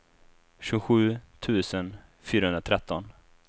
tjugosju tusen fyrahundratretton